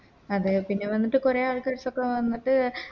അതെ പിന്നെ വന്നിട്ട് കൊറേ ആൾക്കരസ്സൊക്കെ വന്നിട്ട്